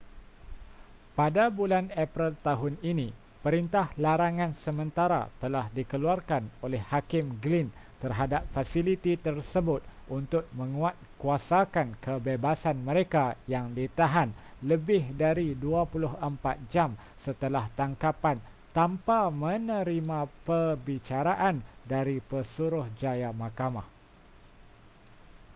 pada bulan april tahun ini perintah larangan sementara telah dikeluarkan oleh hakim glynn terhadap fasiliti tersebut untuk menguatkuasakan kebebasan mereka yang ditahan lebih dari 24 jam setelah tangkapan tanpa menerima perbicaraan dari pesuruhjaya mahkamah